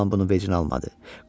Oğlan bunu vecinə almadı.